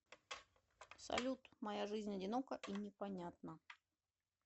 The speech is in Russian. салют моя жизнь одинока и непонятна